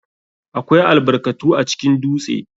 AKWAI albarkatu acikin dutse.